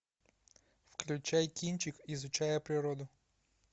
включай кинчик изучая природу